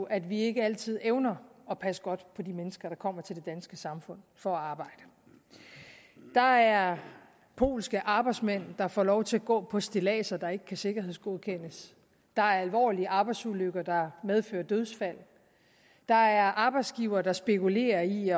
at vi ikke altid evner at passe godt på de mennesker der kommer til det danske samfund for at arbejde der er polske arbejdsmænd der får lov til at gå på stilladser der ikke kan sikkerhedsgodkendes der er alvorlige arbejdsulykker der medfører dødsfald der er arbejdsgivere der spekulerer i